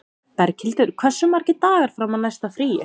Berghildur, hversu margir dagar fram að næsta fríi?